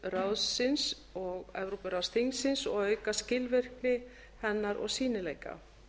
evrópuráðsins og evrópuráðsþingsins og auka skilvirkni hennar og sýnileika